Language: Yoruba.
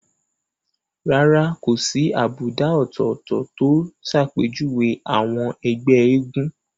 Rárá kò sí àbùdá ọ̀tọ̀ọ̀tọ̀ tó ṣàpèjúwe àwọn ẹgbẹ́ eégún